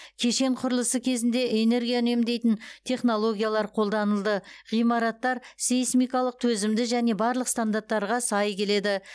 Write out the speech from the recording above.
кешен құрылысы кезінде энергия үнемдейтін технологиялар қолданылды ғимараттар сейсмикалық төзімді және барлық стандарттарға сай келеді